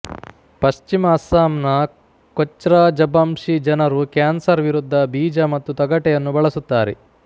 ಪಶ್ಚಿಮ ಅಸ್ಸಾಂನ ಕೋಚ್ರಾಜಬಂಶಿ ಜನರು ಕ್ಯಾನ್ಸರ್ ವಿರುದ್ಧ ಬೀಜ ಮತ್ತು ತೊಗಟೆಯನ್ನು ಬಳಸುತ್ತಾರೆ